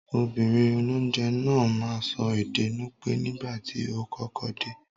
Obìnrin olónje náà máa n so ède Nupe nígbàtí o kọ́kọ́ de